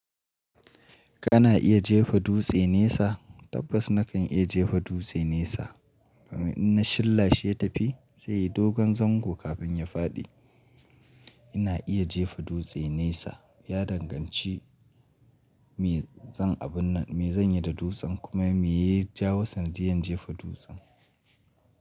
Kana iya jefa dutse nesa? Tabbas na kan iya jefa dutse nesa. Domin in na shilla shi ya tafi sai yayi dogon zango kafin ya faɗi. Ina iya jefa dutse nesa. Ya danganci me zan yi da dutsen kuma me ya jawo sanadiyar jefa dutsen.